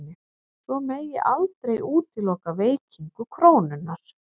Svo megi aldrei útiloka veikingu krónunnar